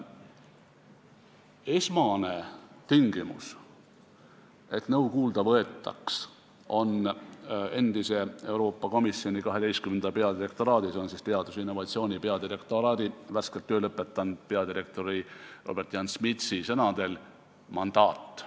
Esmane tingimus, et nõu kuulda võetaks, on Euroopa Komisjoni 12. peadirektoraadi, s.o teaduse ja innovatsiooni peadirektoraadi värskelt töö lõpetanud peadirektori Robert-Jan Smitsi sõnadel mandaat.